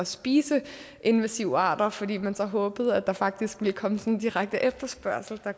spise invasive arter fordi man så håbede at der faktisk ville komme sådan direkte efterspørgsel der